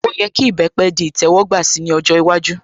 Ó yẹ kí ìbẹpẹ̀ di ìtẹ́wọ́gbà si ní ọjọ́ iwájú